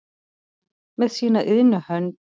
með sína iðnu hönd